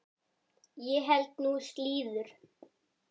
Ég held nú slíður!